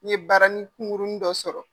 Ne ye baaranin kunkurunin dɔ sɔrɔ